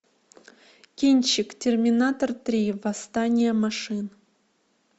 кинчик терминатор три восстание машин